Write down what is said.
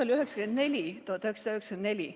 Oli aasta 1994.